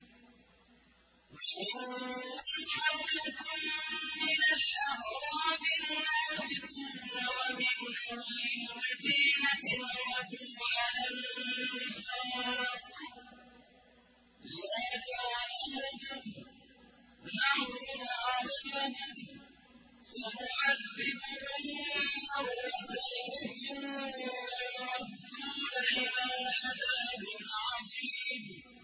وَمِمَّنْ حَوْلَكُم مِّنَ الْأَعْرَابِ مُنَافِقُونَ ۖ وَمِنْ أَهْلِ الْمَدِينَةِ ۖ مَرَدُوا عَلَى النِّفَاقِ لَا تَعْلَمُهُمْ ۖ نَحْنُ نَعْلَمُهُمْ ۚ سَنُعَذِّبُهُم مَّرَّتَيْنِ ثُمَّ يُرَدُّونَ إِلَىٰ عَذَابٍ عَظِيمٍ